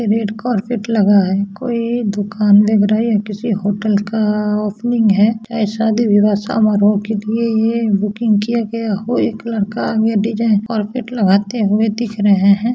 Red carpet लगा है कोई दुकान दिख रही है किसी होटल का ओपनिंग है चाहे शादी-विवाह समारोह के लिए ये बुकिंग किया गया हो एक लड़का आगे डिज़ाइन कारपेट लगाते हुए दिख रहें हैं।